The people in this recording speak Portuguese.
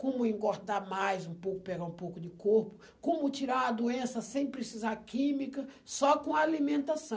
Como engordar mais um pouco, pegar um pouco de corpo, como tirar a doença sem precisar química, só com alimentação.